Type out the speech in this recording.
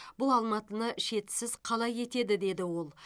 бұл алматыны шетсіз қала етеді деді ол